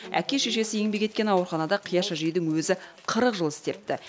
әке шешесі еңбек еткен ауруханада қияш әжейдің өзі қырық жыл істепті